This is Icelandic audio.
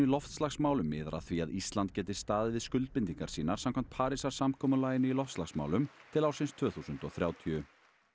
loftslagsmálum miðar að því að Ísland geti staðið við skuldbindingar sínar samkvæmt Parísarsamkomulaginu í loftslagsmálum til ársins tvö þúsund og þrjátíu